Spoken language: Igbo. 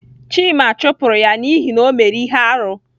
Chima chụpụrụ ya n'ihi na o mere ihe arụ.